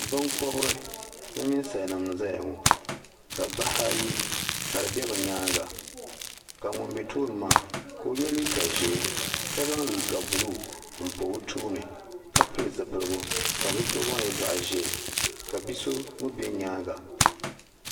Binkɔbiri ni ninsalinima n-zaya ŋɔ ka bahi ayi ka di be bɛ nyaaŋa ka ŋun bɛ tooni maa ka o yɛ liiga Ʒee ka zaŋ liiga buluu m-pa o tooni ka pili zipiligu ka zipiligu maa nyɛ zaɣ'Ʒee ka bi'so mii bɛ nyaaŋa.